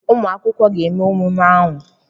Ụmụ akwụkwọ ga-eme emume ahụ?